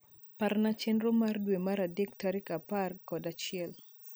Parna chenro mara dwe mar adek tarik apar kod achiel